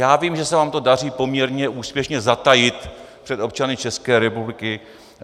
Já vím, že se vám to daří poměrně úspěšně zatajit před občany České republiky.